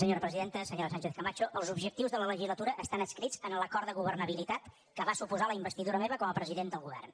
senyora sánchez camacho els objectius de la legislatura estan adscrits a l’acord de governabilitat que va suposar la investidura meva com a president del govern